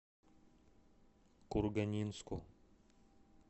курганинску